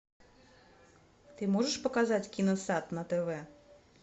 ты можешь показать киносад на тв